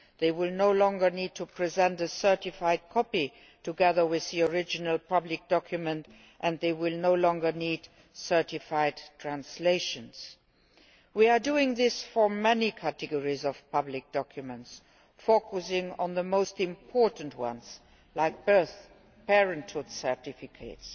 They will no longer need to present a certified copy together with the original public document, and they will no longer need certified translations. We are doing this for many categories of public documents, focusing on the most important ones like birth and parenthood certificates,